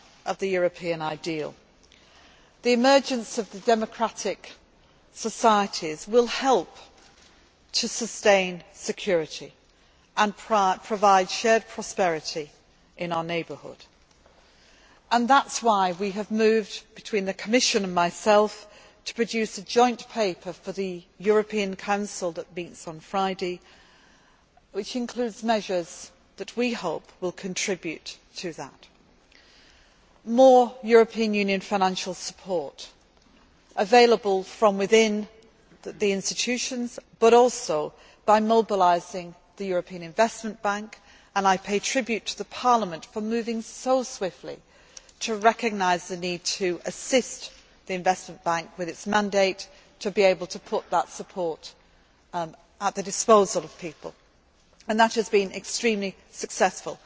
at the heart of the European ideal. The emergence of the democratic societies will help to sustain security and provide shared prosperity in our neighbourhood and that is why we have moved between us, the Commission and myself, to produce a joint paper for the European Council that meets on Friday which includes measures that we hope will contribute to that more European Union financial support available from within the institutions, but also by mobilising the European Investment Bank and I pay tribute to Parliament for moving so swiftly to recognise the need to assist the Investment Bank with its mandate to be able to put that support at the disposal of people and that has been extremely